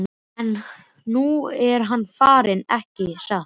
En nú er hann farinn, ekki satt?